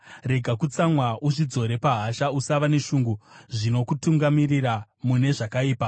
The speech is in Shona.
Rega kutsamwa, uzvidzore pahasha; usava neshungu zvinokutungamirira mune zvakaipa.